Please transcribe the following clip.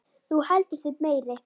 Þú heldur þig meiri.